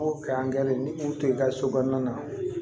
O kɛ an gɛrɛ ni mun to yen i ka so kɔnɔna na